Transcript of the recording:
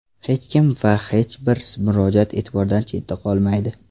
Hech kim va hech bir murojaat e’tibordan chetda qolmaydi.